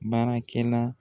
Baarakɛla